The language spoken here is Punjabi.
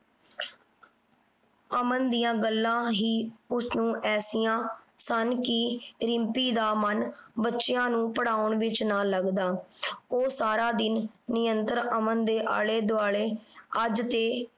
ਅਮਨ ਦੀਆਂ ਗੱਲਾਂ ਹੀ ਉਸਨੂੰ ਐਸੀਆਂ ਸਨ ਕਿ ਰਿੰਪੀ ਦਾ ਮਨ ਬੱਚਿਆਂ ਨੂੰ ਪੜਾਉਣ ਵਿਚ ਨਾ ਲੱਗਦਾ। ਉਹ ਸਾਰਾ ਦਿਨ ਨਿਯੰਤਰ ਅਮਨ ਦੇ ਆਲੇ ਦੁਆਲੇ। ਅੱਜ ਤੇ